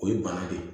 O ye bana de ye